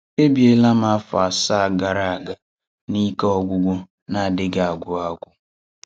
Èbìèlà m afọ̀ àsàá gara aga na ike ọ̀gwụ̀gwụ̀ na-adịghị agwụ́ agwụ́.